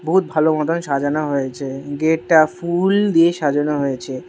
বহুত ভালো মতন সাজানো হয়েছে গেট টা ফুল দিয়ে সাজানো হয়েছে।